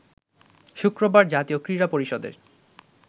শুক্রবার জাতীয় ক্রীড়া পরিষদের